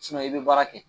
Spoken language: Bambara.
i bɛ baara kɛ